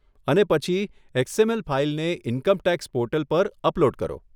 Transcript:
અને પછી એક્સએમએલ ફાઈલને ઇન્કમ ટેક્સ પોર્ટલ પર અપલોડ કરો.